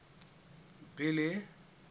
billy